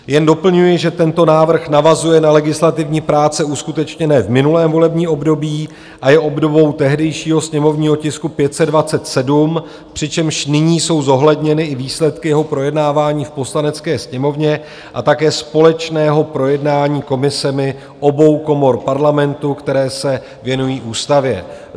Jen doplňuji, že tento návrh navazuje na legislativní práce uskutečněné v minulém volební období a je obdobou tehdejšího sněmovního tisku 527, přičemž nyní jsou zohledněny i výsledky jeho projednávání v Poslanecké sněmovně a také společného projednávání komisemi obou komor parlamentu, které se věnují ústavě.